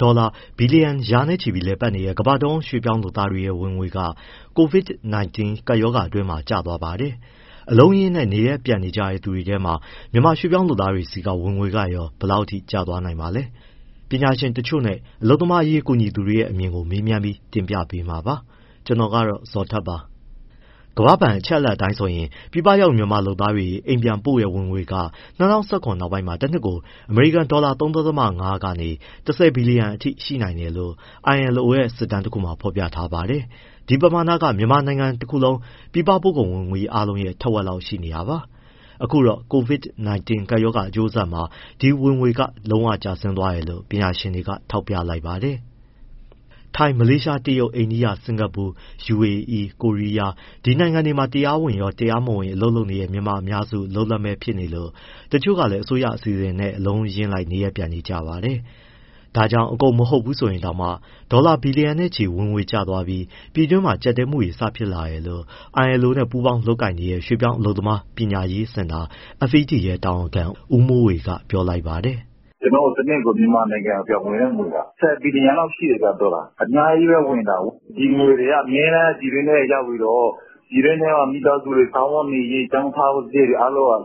ဒေါ်လာဘီလီယံ ရာနဲ့ချီလည်ပတ်နေတဲ့ ကမ္ဘာ့တဝန်း ရွှေ့ပြောင်းလုပ်သားတွေရဲ့ ဝင်ငွေက COVID-19 ကပ်ရောဂါအတွင်းမှာ ကျသွားပါတယ်။ အလုံးအရင်းနဲ့ နေရပ်ပြန်ကြတဲ့ သူတွေထဲမှာ မြန်မာရွှေ့ပြောင်း လုပ်သားတွေဆီက ဝင်ငွေကရော ဘယ်လောက်အထိ ကျသွားနိုင်ပါလဲ။ ပညာရှင်တချို့နဲ့ အလုပ်သမားအရေးကူညီသူတွေရဲ့ အမြင်ကို ကိုဇော်ထက်က မေးမြန်း တင်ပြထားပါတယ်။ ကမ္ဘာ့ဘဏ်အချက်အလက် အရပြည်ပရောက်မြန်မာလုပ်သားတွေ အိမ်ပြန်ပို့ငွေက ၂၀၁၇ နောက်ပိုင်းတနှစ်ကို ဒေါ်လာ ၃.၅ ကနေ ၁၀ ဘီလီယံအထိရှိတယ်လို့ ILO ရဲ့ စစ်တမ်းတခုမှာ ဖော်ပြထားပါတယ်။ ဒီပမာဏက မြန်မာတနိုင်ငံလုံး ပြည်ပပို့ကုန်ဝင်ငွေ အားလုံးရဲ့ ထက်ဝက်လောက် ရှိနေတာပါ။ အခုတော့ COVID-19 ကပ်ရောဂါ အကျိုးဆက်မှာ ဒီဝင်ငွေက လုံးဝကျဆင်းသွားတယ်လို့ ပညာရှင်တွေက ထောက်ပြလိုက်ပါတယ်။ ထိုင်း၊ မလေးရှား၊ တရုတ်၊ အိန္ဒိယ၊ စင်္ကာပူ၊ ယူအေအီး၊ ကိုရီးယား ဒီနိုင်ငံတွေမှာ တရားဝင်ရော၊ တရားမဝင် အလုပ်လုပ်နေတဲ့ မြန်မာအများစု အလုပ်လက်မဲ့ဖြစ်နေလို့ တချို့ကလည်း အစိုးရအစီအစဉ်နဲ့ အလုံးအရင်းလိုက် နေရပ်ပြန်နေကြပါတယ်။ ဒါကြောင့် အကုန်မဟုတ်ဘူးဆိုရင်တောင်မှ ဒေါ်လာ ဘီလျံနဲ့ချီဝင်ငွေ ကျသွားလို့ ပြည်တွင်းမှာ ကျပ်တည်းမှုတွေ စဖြစ်လာတယ်လို့ ILO နဲ့ ပူးပေါင်းလုပ်ကိုင်နေတဲ့ ရွှေ့ပြောင်းအလုပ်သမား ပညာရေးစင်တာ FED တာဝန်ခံ ဦးမိုးဝေက ပြောပါတယ်။ “ ကျနော်တို့ တနှစ်ကို မြန်မာနိုင်ငံ ပြန်ဝင်တဲ့ငွေက ၁၀ ဘီလျံလောက်ရှိတယ် ဒေါ်လာ။ အများကြီးပဲဝင်တာ။ ဒီငွေတွေက အမြဲတမ်း ပြည်တွင်းထဲရောက်ပြီးတော့ မိသားစုတွေ စားဝတ်နေရေး၊ ကျောင်းထားစရိတ်တွေ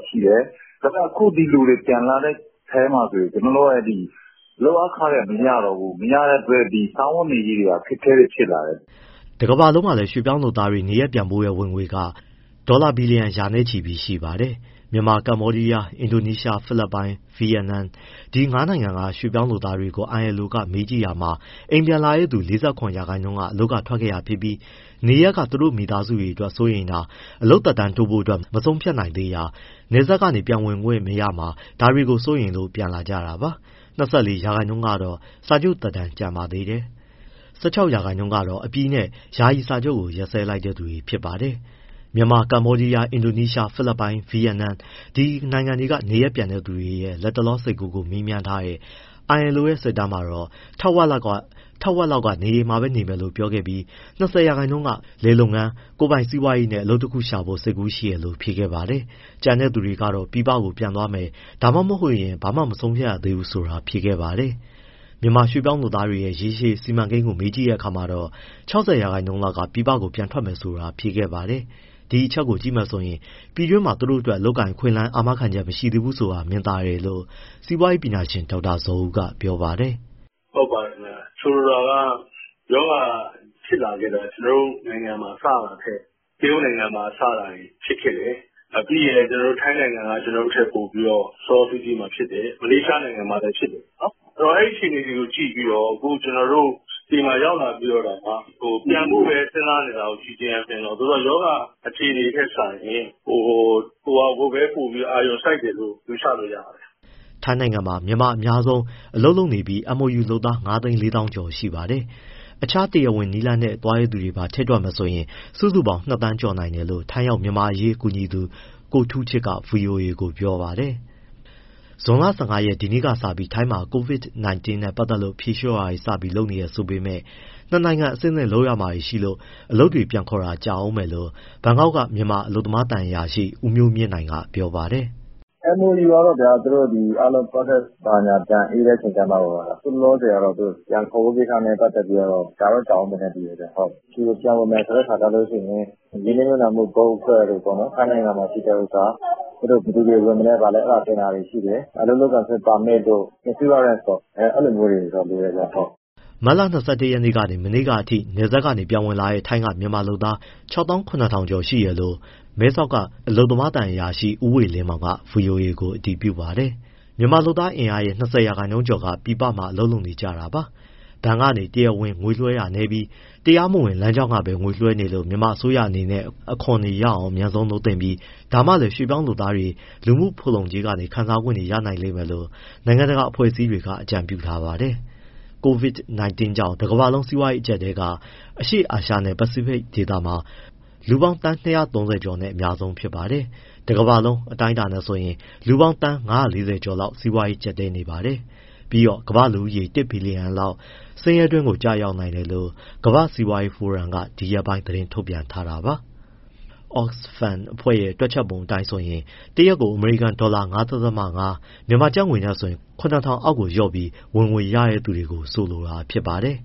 ရှိတယ်။ ဒါပေမဲ့ အခု ဒီလူတွေ ပြန်လာတဲ့အထဲမှာဆိုရင် လုပ်အားခတွေ မရတော့ဘူး။ မရတဲ့အတွက် စားဝတ်နေရေးက အခက်အခဲတွေ ဖြစ်လာတယ်။” တကမ္ဘာလုံးမှာလည်း ရွှေ့ပြောင်းလုပ်သားတွေ နေရပ်ပြန်ပို့တဲ့ ဝင်ငွေပမာဏဟာ ဒေါ်လာ ဘီလီယံ ရာနဲ့ချီပါတယ်။ မြန်မာ၊ ကမ္ဘောဒီယား၊ အင်ဒိုနီးရှား၊ ဖိလစ်ပိုင်၊ ဗီယက်နမ် ဒီငါးနိုင်ငံက ရွှေ့ပြောင်းလုပ်သားတွေကို ILO က မေးကြည့်တာမှာ အိမ်ပြန်လာတဲ့သူ ၄၇ ရာခိုင်နှုန်းက အလုပ်ထွက်ခဲ့တာဖြစ်ပြီး နေရပ်က သူတို့မိသားစုအတွက် စိုးရိမ်တာ၊ အလုပ်သက်တမ်းတိုးဖို့ မဆုံးဖြတ်နိုင်သေးတာ၊ နယ်စပ်ကနေ ပြန်ဝင်ခွင့်မရမှာ ဒါတွေကို စိုးရိမ်လို့ ပြန်လာကြတာပါ။၂၄ ရာခိုင်နှုန်းကတော့ စာချုပ်သက်တမ်းကျန်ပါသေးတယ်။ ၁၆ ရာခိုင်နှုန်းကတော့ အပြီးနဲ့ ယာယီစာချုပ် ရပ်စဲလိုက်တဲ့ သူတွေပါ။ မြန်မာ၊ ကမ္ဘောဒီးယား၊ အင်ဒိုနီးရှား၊ ဖိလစ်ပိုင်နဲ့ ဗီယက်နမ် ဒီနိုင်ငံတွေက နေရပ်ပြန်တွေရဲ့ လတ်တလော စိတ်ကူးကို မေးမြန်းထားတဲ့ ILO ရဲ့ စစ်တမ်းမှာ ထက်ဝက်လောက်က အိမ်မှာပဲနေမယ်လို့ဖြေပြီး၊ ၂၀ ရာခိုင်နှုန်းက လယ်လုပ်ငန်း၊ ကိုယ်ပိုင်စီးပွားရေးနဲ့ အလုပ်တခုခုရှာဖို့ စိတ်ကူးရှိတယ်လို့ဖြေခဲ့ပါတယ်။ ကျန်တဲ့သူတွေကတော့ ပြည်ပပြန်သွားမယ် (ဒါမှမဟုတ်) ဘာမှမဆုံးဖြတ်ရသေးဘူးဆိုတာ ဖြေခဲ့တာပါ။ မြန်မာရွှေ့ပြောင်းလုပ်သားတွေရဲ့ ရေရှည်စီမံကိန်းကို မေးကြည့်တဲ့အခါမှာတော့ ၆၀ ရာခိုင်နှုန်းလောက်က ပြည်ပကို ပြန်ထွက်မယ်ဆိုတာ ဖြေခဲ့ပါတယ်။ ဒီအချက်ကို ကြည့်မယ်ဆိုရင် ပြည်တွင်းမှာ သူတို့အတွက် အလုပ်အကိုင်အခွင့်အလမ်း အာမခံချက် မရှိသေးဘူးဆိုတာ မြင်သာတယ်လို့ စီးပွားရေးပညာရှင် ဒေါက်တာဇော်ဦးက ပြောပါတယ်။ “ ဟုတ်ပါတယ်ခင်ဗျ၊ ဆိုလိုတာက ရောဂါဖြစ်လာခဲ့တာ ကျနော်တို့နိုင်ငံမှာ စတာထက် တရုတ်နိုင်ငံမှာစတာ ဖြစ်ခဲ့တယ်။ ပြီးရင်လည်း ထိုင်းနိုင်ငံက ကျနော်တို့ထက်ပိုပြီး စောစောစီးစီးမှာဖြစ်တယ်။ မလေးရှားနိုင်ငံမှာလည်းဖြစ်တယ်။ ဆိုတော့ အဲဒီအခြေအနေတွေကို ကြည့်ပြီးတော့ ကျနော်တို့ဆီမှာ ရောက်လာပြီး ပြန်ဖို့ပဲစဉ်းစားနေတာကို ကြည့်ခြင်းအားဖြင့်တော့ ရောဂါအခြေအနေထက်စာရင် ဟိုဟာ ( အလုပ်ရဖို့) ကိုပဲ အာရုံစိုက်တယ်လို့ ယူဆလို့ ရပါတယ်။” ထိုင်းနိုင်ငံမှာ မြန်မာအများဆုံး အလုပ်လုပ်နေပြီး MOU လုပ်သား ၅၄၀၀၀၀ ကျော်ရှိပါတယ်။ တခြားတရားဝင်နည်းလမ်းတွေနဲ့ သွားတဲ့သူတွေပါ ထည့်တွက်မယ်ဆိုရင် စုစုပေါင်း ၂သန်းကျော်နိုင်တယ်လို့ ထိုင်းရောက်မြန်မာ့အရေးကူညီသူ ကိုထူးချစ်က ဗွီအိုအေကိုပြောပါတယ်။ ဇွန်လ ၁၅ရက် ဒီနေ့ကစပြီး ထိုင်းမှာ COVID-19 နဲ့ပတ်သက်လို့ ဖြေလျှော့တာတွေ စလုပ်နေပြီဆိုပေမဲ့ နှစ်နိုင်ငံ အဆင့်ဆင့်လုပ်ရမှာတွေရှိလို့ အလုပ်တွေ ပြန်ခေါ်ဖို့က ကြာဦးမယ်လို့ ဘန်ကောက်က မြန်မာ အလုပ်သမားသံအရာရှိ ဦးမျိုးမြင့်နိုင်က ပြောပါတယ်။ “ MOU ကတော့ဗျာ သူတို့ process တွေဘာတွေ အေးတဲ့အခါကျမှ၊ အခုလောလောဆယ်ကတော့ ပြန်ခေါ်ဖို့ကိစ္စ ကြာတော့ ကြာဦးမယ်ထင်တယ်ဗျ။ ပြန်ဝင်မယ်ဆိုရင် ရင်းနှီးမြှုပ်နှံ့မှု board အဖွဲ့တို့ ထိုင်းမှာရှိတဲ့ဟာ၊ ဘယ်သူတွေဝင်မလဲ အဲဒါတွေတင်တာရှိတယ်။ အလုပ်လုပ်ခွင့် ပါမစ်တို့၊ အာမခံတို့ အဲလိုမျိုးတွေ လိုတယ်ဗျ။” မတ်လ ၂၁ ရက်ကနေ မနေ့ကအထိ နယ်စပ်ကနေပြန်ဝင်လာတဲ့ ထိုင်းက မြန်မာလုပ်သား ၆၇၀၀၀ ကျော်တယ်လို့ မဲဆောက်က အလုပ်သမားသံအရာရှိ ဦးဝေလင်းမောင်က ဗွီအိုအေကို အတည်ပြုပါတယ်။ မြန်မာ့လုပ်သားအင်အားရဲ့၂၀ ရာခိုင်နှုန်းကျော်က ပြည်ပမှာ လုပ်နေကြတာပါ။ ဘဏ်ကနေ တရားဝင် ငွေလွှဲတာနည်းပြီး တရားမဝင်လမ်းကြောင်းကပဲ ငွေလွှဲနေလို့ မြန်မာအစိုးရအနေနဲ့ အခွန်ရအောင် အမြန်ဆုံး လုပ်သင့်ပြီး ဒါမှလည်း ရွှေ့ပြောင်းလုပ်သားတွေ လူမှုဖူလုံကြေးကနေ ခံစားခွင့်ရနိုင်မယ်လို့ နိုင်ငံတကာ အဖွဲ့အစည်း တွေက အကြံပြုထားပါတယ်။ COVID-19 ကြောင့် တကမ္ဘာလုံး စီးပွားရေး အကျပ်အတည်းက အရှေ့အာရှနဲ့ ပစိဖိတ်ဒေသမှာ လူ သန်း ၂၃၀ ကျော်နဲ့ အများဆုံးပါ။ တကမ္ဘာလုံး အတိုင်းအတာနဲ့ဆိုရင် လူပေါင်း သန်း ၅၄၀ ကျော်လောက် စီးပွားရေး ကျပ်တည်းနေပါတယ်။ ပြီးတော့ ကမ္ဘာ့လူဦးရေ တစ်ဘီလီယံလောက် ဆင်းရဲတွင်းကို ကျရောက်နိုင်တယ်လို့ ကမ္ဘာ့စီးပွားရေးဖိုရမ် World Economic Forum က ဒီရက်ပိုင်း သတင်းထုတ်ပြန်ခဲ့တာပါ။ Oxfam တွက်ချက်ပုံ အတိုင်းဆိုရင် တရက်ကို အမေရိကန်ဒေါ်လာ ၅.၅ ( ပျမ်းမျှ ကျပ်ငွေ ၇၀၀၀ ) အောက်ကိုလျော့ပြီး ဝင်ငွေရတဲ့ သူတွေကို ဆိုလိုတာဖြစ်ပါတယ်